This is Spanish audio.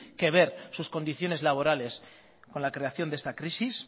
que ver sus condiciones laborales con la creación de esta crisis